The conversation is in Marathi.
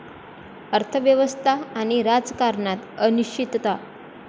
अर्थव्यवस्था आणि राजकारणात अनिश्चितता.